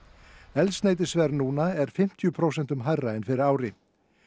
eldsneytisverð núna er fimmtíu prósentum hærra en fyrir ári